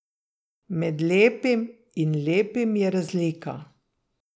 Med lepim in lepim je razlika.